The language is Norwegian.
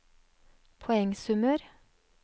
poengsummer